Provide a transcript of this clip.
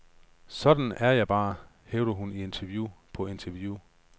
Sådan er jeg bare, hævder hun i interview på interview.